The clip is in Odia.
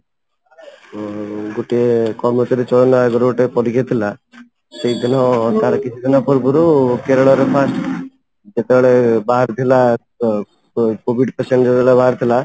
ଅଂ ଗୋଟେ ଚୟନ ଆଗରୁ ଗୋଟେ ପରୀକ୍ଷା ଥିଲା, ସେଇ ଦିନ ତାର କିଛି ଦିନ ପୂର୍ବ ରୁ କେରଳ ର first ଯେତେ ବେଳେ ବାହାରିଥିଲା COVID patient ଯେତେ ବେଳେ ବାହାରିଥିଲା